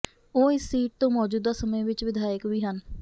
ਉਹ ਇਸ ਸੀਟ ਤੋਂ ਮੌਜੂਦਾ ਸਮੇਂ ਵਿਚ ਵਿਧਾਇਕ ਵੀ ਹਨ